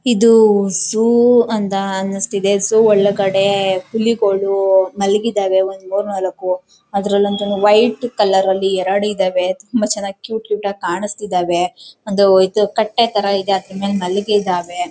ಇದು ಝು ಅಂತ ಅನಸ್ತಿದೆ. ಝುಉ ಒಳ್ಳೆ ಕಡೆ ಹುಲಿಗಳು ಮಲಗಿದಾವೆ ಒಂದ್ ಮೂರ್ ನಾಲಕು ಅದರಲಂತೂ ವೈಟ್ ಕಲರ್ ಅಲ್ಲಿ ಎರಡ್ ಇದಾವೆ ತುಂಬಾ ಚನ್ನಾಗಿ ಕ್ಯೂಟ್ ಕ್ಯೂಟ್ ಆಗಿ ಕಾಣಸ್ತಿದವೇ ಒಂದ್ ಕಟ್ಟೆ ತರ ಇದೆ ಅದ್ರುಮೇಲೆ ಮಲಗಿದಾವೆ.